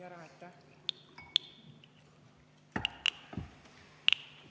Aitäh!